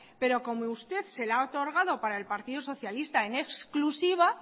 pero como usted se la ha otorgado para el partido socialista en exclusiva